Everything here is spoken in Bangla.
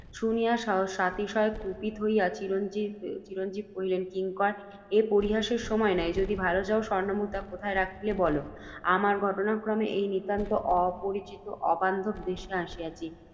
শুনিয়া সাতিশয় কুপিত হইয়া, চিরঞ্জাব কহিলেন, কিঙ্কর! এ পরিহাসের সময় নয়, যদি ভাল চাও, স্বর্ণমুদ্রা কোথায় রাখিলে, বল। আমরা ঘটনাক্রমে এই নিতান্ত অপরিচিত অবান্ধব দেশে আসিয়াছি,